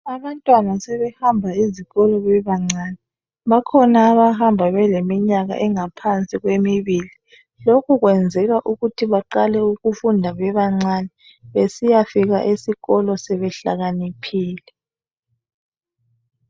Abantwana sebehamba ezikolo bebancane. Bakhona abahamba bengaphansi kweminyaka emibili. Lokhu kwenzelwa ukuthi baqale ukufunda bebancane besiya efika esikolo sebehlakaniphile.